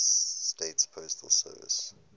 states postal service